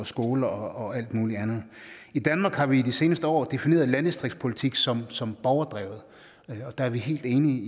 skoler og alt muligt andet i danmark har vi i de seneste år defineret landdistriktspolitik som som borgerdrevet der er vi helt enige i